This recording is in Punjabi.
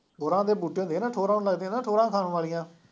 ਠੋਰਾਂ ਦੇ ਹੁੰਦੇ ਨਾ, ਠੋਰਾਂ ਨੂੰ ਲੱਗਦੀਆਂ ਨਾ, ਸ਼ੋਰਾਂ ਖਾਣ ਵਾਲੀਆਂ